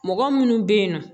Mɔgɔ minnu bɛ yen nɔ